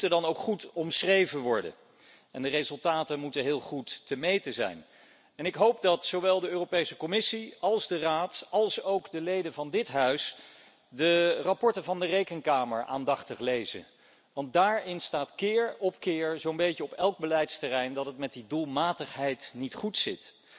Die moeten dan ook goed omschreven worden en de resultaten moeten heel goed te meten zijn. Ik hoop dat zowel de Europese Commissie als de Raad, als ook de leden van dit huis de rapporten van de Rekenkamer aandachtig lezen, want daarin staat keer op keer zo'n beetje op elk beleidsterrein dat het met die doelmatigheid niet goed zit.